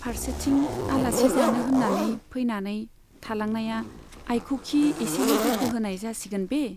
फार्सेथिं आलासि जानो होन्नानै फैनानै थालांनाया आइखौखि एसेल' दुखु होनाय जासिगोन बे !